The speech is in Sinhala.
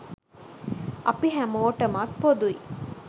අපි හැමෝටමත් පොදුයි.